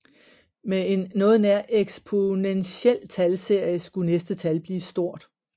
Med en noget nær eksponentiel talserie skulle næste tal blive stort